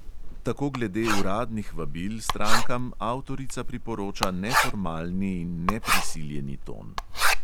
Tako glede uradnih vabil strankam avtorica priporoča neformalni in neprisiljeni ton.